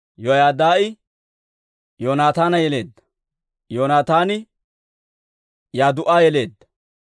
Yoyaadaa'i Yoonataana yeleedda; Yoonataani Yadduu'a yeleedda.